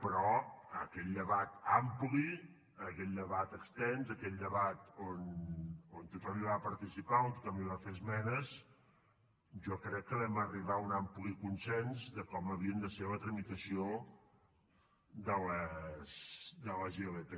però aquell debat ampli aquell debat extens aquell debat on tothom hi va participar on tothom hi va fer esmenes jo crec que vam arribar a un ampli consens de com havia de ser la tramitació de les ilp